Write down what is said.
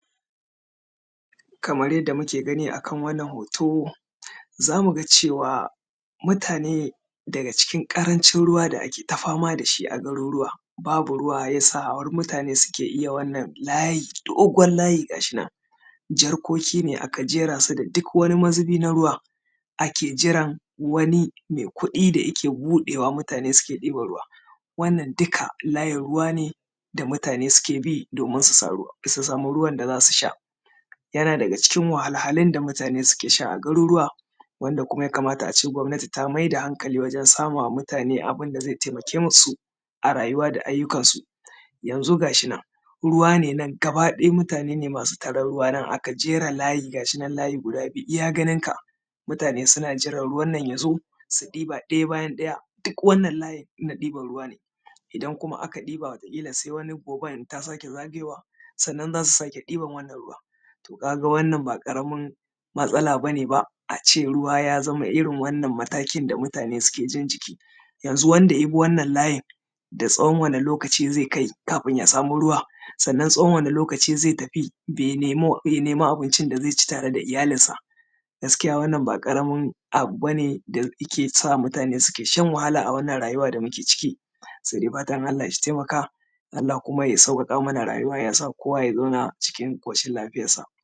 Kamar jadda muka gani a kan wannan hoto, za mu ga cewa mutane daga cikin ƙarancin ruwa da ake fama da shi a garuruwa, babu ruwa har ya sa mutane ke iya wannan layi dogon layi ga shi nan, jarkoki ne aka jera su da duk wani mazubi na ruwa, ake jiran wani mai kuɗi da yake buɗewa mutane suke ɗiban ruwa. wannan duka layin ruwa ne da mutane suke bi domin su sami ruwa, domin su sami ruwan da za su sha. Yana daga cikin wahalhalun da mutane ke sha a garuruwa, wanda kuma yakamata a ce gwamnati ta mayar da hankali wurin samawa mutane abin da zai taimake su a rayuwa da ayyukansu. Yanzu ga shi nan ruwa ne gaba ɗaya mutane ne masu tarar ruwa aka jera layi, ga shi nan layi ne guda biyu iya ganin ka. Mutane suna jiran ruwan nan ya zo, su ɗiba ɗaya bayan ɗaya, duk wannan layin na ɗiban ruwa ne, idan kuma aka ɗiba wataƙila sai wani goben idan ta sake zagoyowa, sannan za a sake ɗiban wani ruwa.. To ka ga wannan ba ƙaramin batsala ba ce ba, a ce ruwa ya zama irin wannan matakin da mutane suke jin jiki. Yanzu wanda ya bi wannan layin, da tsawon wani lokaci zai kai kafin ya sa ruwa, sannan tsawon wani lokaci zai tafi ya neman abincin da zai ci da iyalinsa. Gaskiya wannan ba ƙamin abu ba ne da yake sa mutane suke shan wahalla a wannan rayuwa da muke ciki, sai dai fatan Allah ya taimaka. Allah kuma ya sauwaƙa mana rayuwa ya: sa kowa yabzauna cikin ƙoshin lafiyarsa.